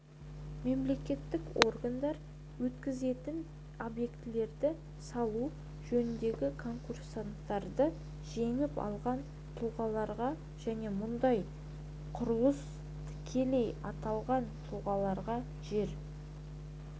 мемлекеттік органдар өткізетін объектілерді салу жөніндегі конкурстарды жеңіп алған тұлғаларға және мұндай құрылыс тікелей аталған тұлғаларға жер